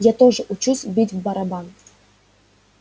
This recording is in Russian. я тоже учусь бить в барабан